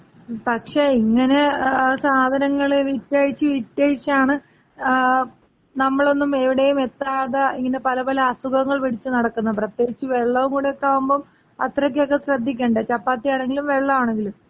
മ്, പക്ഷേ ഇങ്ങനെ സാധനങ്ങള് വിറ്റഴിച്ച് വിറ്റഴിച്ചാണ് നമ്മളൊന്നും എവിടേം എത്താത ഇങ്ങനെ പല പല അസുഖങ്ങള് പിടിച്ച് നടക്കുന്നത്. പ്രത്യേകിച്ച് വെള്ളം കൂടെയൊക്കെ ആകുമ്പോ അത്രയ്ക്കൊക്കെ ശ്രദ്ധിക്കണ്ടെ? ചപ്പാത്തി ആണെങ്കിലും വെള്ളാണെങ്കിലും.